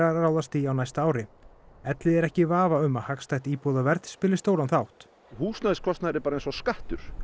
ráðast í á næsta ári Elliði er ekki í vafa um að hagstætt íbúðaverð spili stóran þátt húsnæðiskostnaður er bara eins og skattur